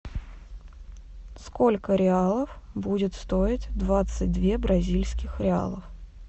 сколько реалов будет стоить двадцать две бразильских реалов